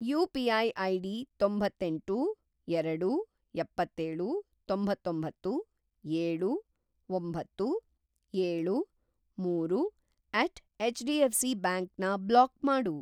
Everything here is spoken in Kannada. ಯು.ಪಿ.ಐ. ಐಡಿ ತೊಂಬತ್ತೇಂಟು, ಎರಡು, ಎಪ್ಪತ್ತೇಳು, ತೊಂಬತ್ತೊಂತ್ತು, ಏಳು, ಒಂಬತ್ತು, ಏಳು, ಮೂರು ಎಟ್ ಎಚ್.ಡಿ.ಎಫ್.ಸಿ ಬ್ಯಾಂಕ್ ನ ಬ್ಲಾಕ್‌ ಮಾಡು